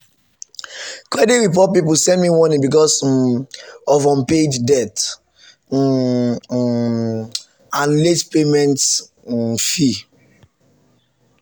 credit report people send me warning because um of unpaid debt um um and late payment um fee.